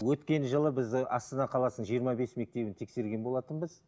өткен жылы біздің астана қаласының жиырма бес мектебін тексерген болатынбыз